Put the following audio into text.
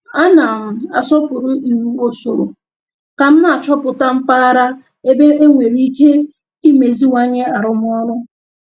A na m asọpụrụ iwu usoro ka m na-achọpụta mpaghara ebe enwere ike imeziwanye arụmọrụ